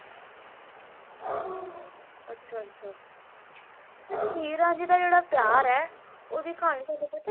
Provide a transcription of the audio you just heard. ਅੱਛਾ ਅੱਛਾ ਤੇ ਹੀਰ ਰਾਂਝੇ ਦਾ ਜਿਹੜਾ ਪਿਆਰ ਹੈ ਓਹਦੀ ਕਹਾਣੀ ਤੁਹਾਨੂੰ ਪਤਾ ਏ